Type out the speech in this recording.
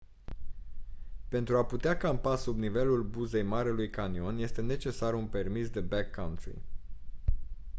pentru a putea campa sub nivelul buzei marelui canion este necesar un permis de backcountry